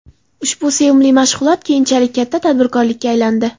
Ushbu sevimli mashg‘ulot keyinchalik katta tadbirkorlikka aylandi”.